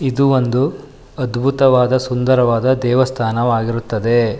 ಇದು ಒಂದು ಅದ್ಭುತವಾದ ಸುಂದರವಾದ ದೇವಸ್ಥಾನವಾಗಿರುತ್ತದೆ.